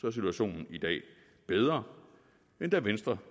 er situationen i dag bedre end da venstre